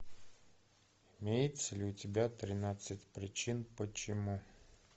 имеется ли у тебя тринадцать причин почему